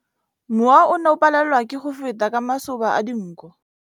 Mowa o ne o palelwa ke go feta ka masoba a dinko.